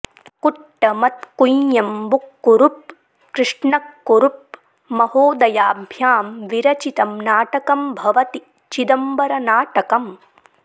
कुट्टमत्त् कुञ्ञम्बुक्कुरुप्प् कृष्णक्कुरुप्प् महोदयाभ्यां विरचितं नाटकं भवति चिदम्बरनाटकम्